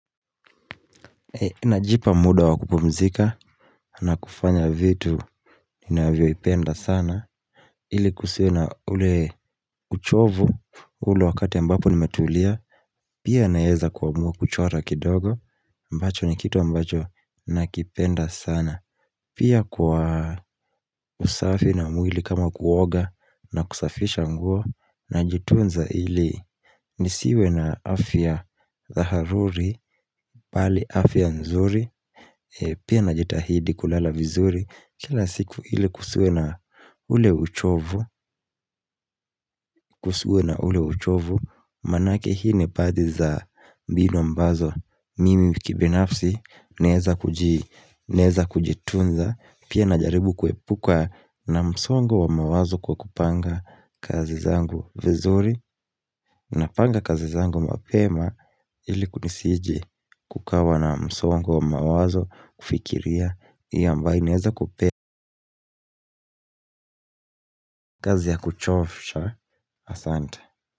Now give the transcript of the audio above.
Najipa muda wa kupumzika na kufanya vitu ninavyoipenda sana ili kusiwe na ule uchovu ule wakati ambapo nimetulia pia naeza kuamua kuchora kidogo ambacho ni kitu ambacho nakipenda sana pia kwa usafi na mwili kama kuoga na kusafisha nguo najitunza ili nisiwe na afya zaharuri pali afya nzuri Pia najitahidi kulala vizuri Kila siku ili kusiwe na ule uchovu kusiwe na ule uchovu Manake hii ni baadhi za mbinu ambazo Mimi kibinafsi naeza kujitunza Pia najaribu kuepuka na msongo wa mawazo kwa kupanga kazi zangu vizuri Napanga kazi zangu mapema ili kunisiji kukawa na msongo wa mawazo kufikiria Iyo ambae naeza kupe kazi ya kuchofisha asante.